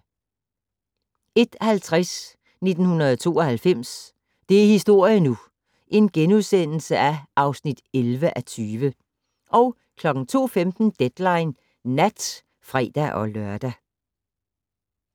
01:50: 1992 - det er historie nu! (11:20)* 02:15: Deadline Nat (fre-lør)